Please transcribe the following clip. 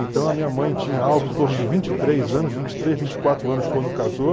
Então a minha mãe tinha algo em torno de vinte e três anos, vinte e três, vinte e quatro anos quando casou.